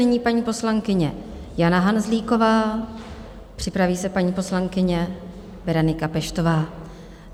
Nyní paní poslankyně Jana Hanzlíková, připraví se paní poslankyně Berenika Peštová.